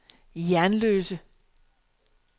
Jernløse